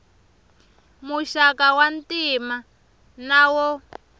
muxaka wa ntima na wo